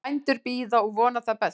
Bændur bíða og vona það besta